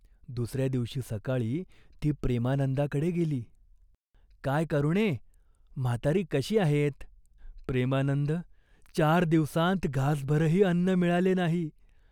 दुस या दिवशी सकाळी ती प्रेमानंदाकडे गेली. "काय करुणे, म्हातारी कशी आहेत ?" "प्रेमानंद चार दिवसांत घासभरही अन्न मिळाले नाही.